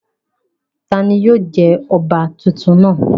Tani yóò jẹ ọba titun náa?